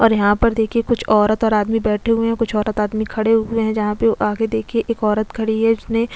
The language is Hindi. और यहाँ पर देखिए कुछ औरत और आदमी बैठे हुए हैं कुछ औरत आदमी खड़े हुए हैं जहाँ पे आगे देखिए एक औरत खड़ी है जिसने--